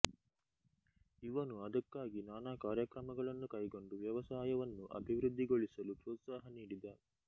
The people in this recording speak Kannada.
ಇವನು ಅದಕ್ಕಾಗಿ ನಾನಾ ಕಾರ್ಯಕ್ರಮಗಳನ್ನು ಕೈಗೊಂಡ ವ್ಯವಸಾಯವನ್ನು ಅಭಿವೃದ್ಧಿಗೊಳಿಸಲು ಪ್ರೋತ್ಸಾಹ ನೀಡಿದ